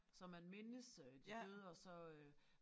Så man mindes øh de døde og så øh